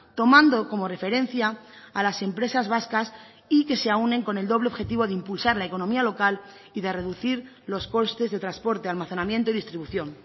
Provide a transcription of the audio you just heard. tomando como referencia a las empresas vascas y que se aúnen con el doble objetivo de impulsar la economía local y de reducir los costes de transporte almacenamiento y distribución